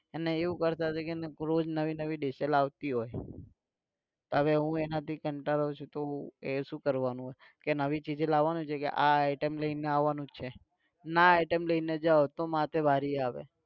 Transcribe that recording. અને એવું કરતાં કે એને રોજ નવી નવી લાવતી હોય હવે હું એનાથી કંટાળું છુ તો એ શું કરવાનું કે નવી ચીજો લાવાની છે કે આ item લઈને આવાનુ છે. ના item લઈને જાવ તો માથે વરી આવે